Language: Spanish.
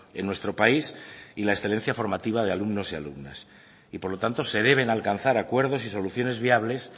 en nuestro país y la excelencia formativa de alumnos y alumnas y por lo tanto se deben alcanzar acuerdos y soluciones viables